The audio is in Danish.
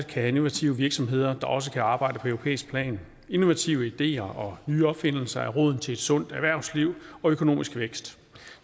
have innovative virksomheder der også kan arbejde på europæisk plan innovative ideer og nye opfindelser er roden til et sundt erhvervsliv og økonomisk vækst